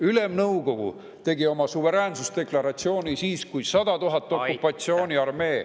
Ülemnõukogu tegi oma suveräänsusdeklaratsiooni siis, kui 100 000 okupatsiooniarmee sõdurit …